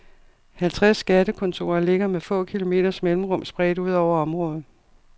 Halvtreds skattekontorer ligger med få kilometers mellemrum spredt ud over området.